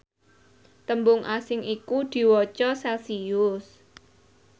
tembung asing iku diwaca celcius